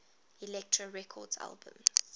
elektra records albums